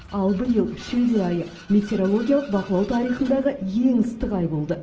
ал биыл шілде айы метеорологиялық бақылау тарихындағы ең ыстық ай болды